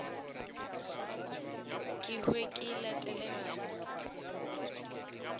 ke hwe ke latele bana